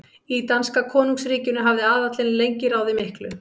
Í danska konungsríkinu hafði aðallinn lengi ráðið miklu.